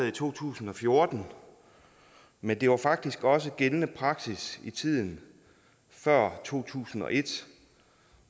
i to tusind og fjorten men det var faktisk også gældende praksis i tiden før to tusind og et